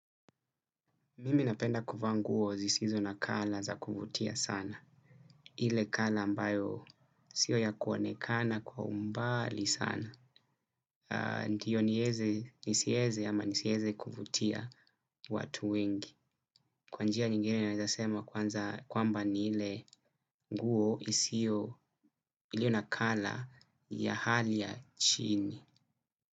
Mimi napenda kuvaa nguo zisizo na kala za kuvutia sana. Ile kala ambayo sio ya kuonekana kwa umbali sana. Ndio nisieze ama nisieze kuvutia watu wengi. Kwa njia nyingine naweza sema kwamba ni ile nguo isiyo iliyo na kala ya hali ya chini.